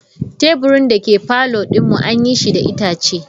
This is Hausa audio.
Teburin dake parlour din mu an yi shi da itace.